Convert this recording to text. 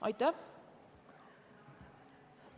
Aitäh!